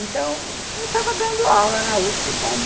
Então, eu estava dando aula na uspê como